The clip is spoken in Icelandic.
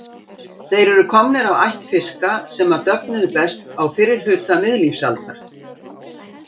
Þeir eru komnir af ætt fiska sem döfnuðu best á fyrri hluta miðlífsaldar.